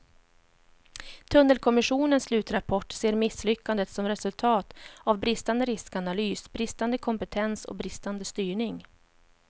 Tunnelkommissionens slutrapport ser misslyckandet som resultat av bristande riskanalys, bristande kompetens och bristande styrning.